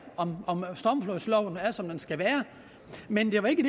om stormflodsloven er som den skal være men det var ikke